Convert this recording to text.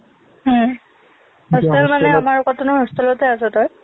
হম hostel মানে আমাৰ কটনৰ hostel তে আছ তই